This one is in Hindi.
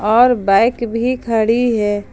और बाइक भी खड़ी है।